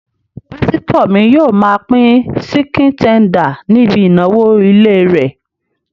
Pásítọ̀ mi yóò máa pín síkìn tender níbi ìnáwó ilé rẹ̀